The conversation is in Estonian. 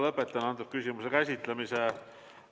Lõpetan antud küsimuse käsitlemise.